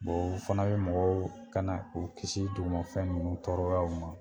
o fana bɛ mɔgɔw kana k'u kisi dugumafɛn ninnu tɔɔrɔyaw ma.